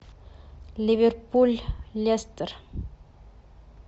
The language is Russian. ливерпуль лестер